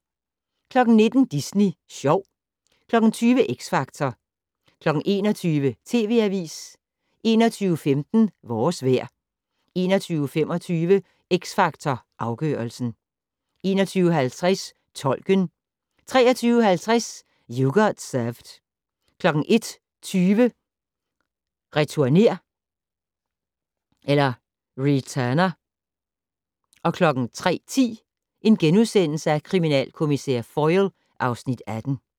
19:00: Disney Sjov 20:00: X Factor 21:00: TV Avisen 21:15: Vores vejr 21:25: X Factor Afgørelsen 21:50: Tolken 23:50: You Got Served 01:20: Returner 03:10: Kriminalkommissær Foyle (Afs. 18)*